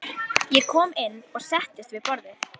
Ég kom inn og settist við borðið.